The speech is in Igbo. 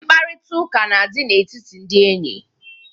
Mkparịtaụka na-adị na-etiti ndị enyi.